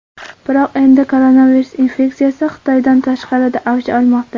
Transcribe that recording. Biroq endi koronavirus infeksiyasi Xitoydan tashqarida avj olmoqda.